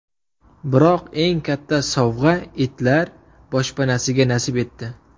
Biroq eng katta sovg‘a itlar boshpanasiga nasib etdi.